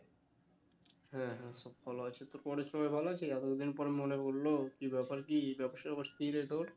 হ্যাঁ হ্যাঁ সব ভালো আছে তোর ঘরের সবাই ভালো আছে? এতো দিন পর মনে পড়লো কী ব্যাপার কী ব্যবসার কী অবস্থা রে তোর?